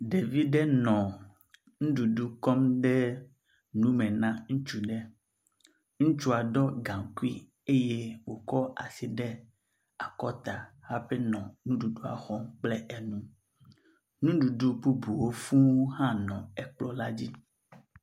Ɖevi ɖe nɔ nuɖuɖu kɔ dem nu me na ŋutsu aɖe. Ŋutsua ɖɔ gaŋkui eye wokɔ asi de akɔta hafi nɔ nuɖuɖua xɔm kple nu. Nuɖuɖu bubuwo fũu hã nɔ kplɔ̃ la dzi.